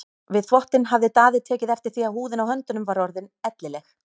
Við þvottinn hafði Daði tekið eftir því að húðin á höndunum var orðin ellileg.